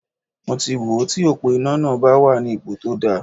Mo ti wò ó ti òpó iná náà bá wà ní ipo tó dáa.